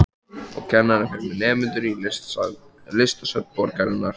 Og kennarinn fer með nemendur í listasöfn borgarinnar.